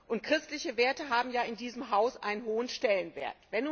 Und christliche Werte haben ja in diesem Haus einen hohen Stellenwert.